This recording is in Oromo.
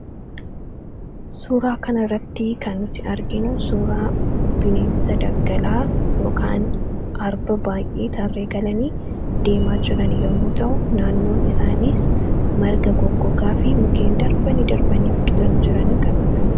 Suuraa kana irratti kan nuti arginuu suuraa bineensa daggalaa yookaan arba baay'ee tarree galanii deemaa jirani yommuu ta'u naannoon isaaniis marga goggogaa fi mukeen darbanii darbanii biqilanitu jiranii kan uummamudha.